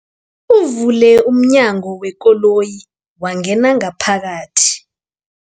Uvule umnyango wekoloyi wangena ngaphakathi.